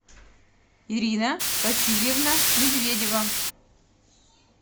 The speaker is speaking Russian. ирина васильевна медведева